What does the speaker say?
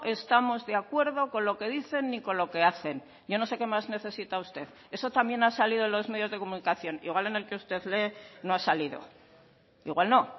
estamos de acuerdo con lo que dicen ni con lo que hacen yo no sé qué más necesita usted eso también ha salido en los medios de comunicación igual en el que usted lee no ha salido igual no